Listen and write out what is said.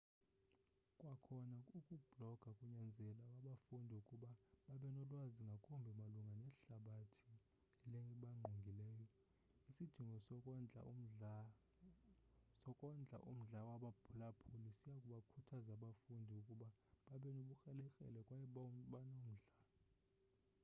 kwakhona ukubhloga kunyanzela abafundi ukuba babe nolwazi ngakumbi malunga nehlabathi elibangqongileyo. isidingo sokondla umdla wabaphulaphuli siyabakhuthaza abafundi ukuba babe nobukrelekrele kwaye banomdla toto 2004